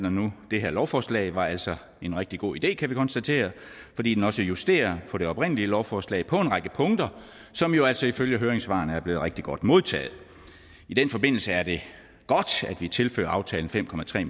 og nu det her lovforslag var altså en rigtig god idé kan vi konstatere fordi den også justerer på det oprindelige lovforslag på en række punkter som jo altså ifølge høringssvarene er blevet rigtig godt modtaget i den forbindelse er det godt at vi tilfører aftalen fem